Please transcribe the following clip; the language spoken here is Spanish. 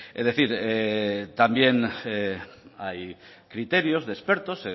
es decir también hay criterios de expertos